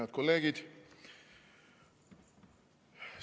Head kolleegid!